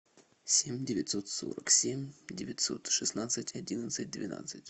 семь девятьсот сорок семь девятьсот шестнадцать одиннадцать двенадцать